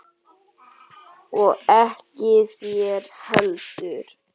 Og ekki þér heldur!